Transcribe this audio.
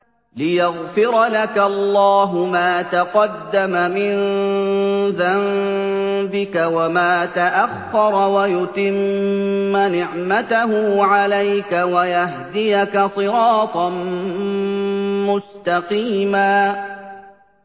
لِّيَغْفِرَ لَكَ اللَّهُ مَا تَقَدَّمَ مِن ذَنبِكَ وَمَا تَأَخَّرَ وَيُتِمَّ نِعْمَتَهُ عَلَيْكَ وَيَهْدِيَكَ صِرَاطًا مُّسْتَقِيمًا